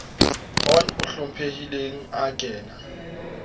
on o hlomphehileng ha kana